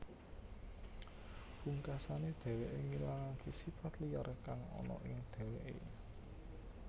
Pungkasané dheweké ngilangaké sipat liyar kang ana ing dheweké